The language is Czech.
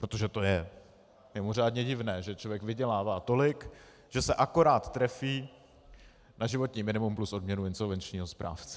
Protože to je mimořádně divné, že člověk vydělává tolik, že se akorát trefí na životní minimum plus odměnu insolvenčního správce.